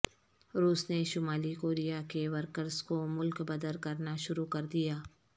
روس نے شمالی کوریا کے ورکرز کو ملک بدر کرنا شروع کر دیا